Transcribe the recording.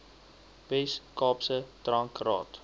wes kaapse drankraad